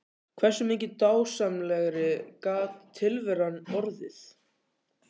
Hversu mikið dásamlegri gat tilveran orðið?